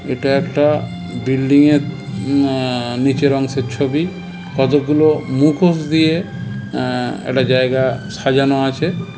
এটা একটা বিল্ডিং -এর আহ নিচের অংশের ছবি কতগুলো মুখোশ দিয়ে আহ একটা জায়গা সাজানো আছে।